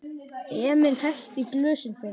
Emil hellti í glösin þeirra.